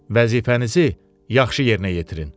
Vəzifənizi yaxşı yerinə yetirin.